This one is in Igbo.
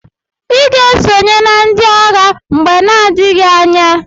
Iga esonye na ndi agha mgbe na adighi anya!!